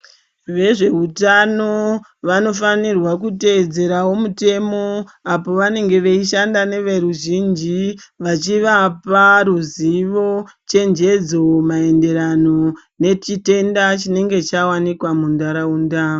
Vezveutano vanofanirwa kutevedzerawo mutemo apo vanenge veishanda neveruzhinji vachivapa ruzivo, chenjedzo maenderano nechitenda chinenge chawanikwa mundaraunda.